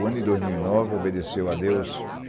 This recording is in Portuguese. O ano de dois mil e nove, obedeceu a Deus